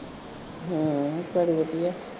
ਹਮਮ ਘਰੇ ਵਧੀਆ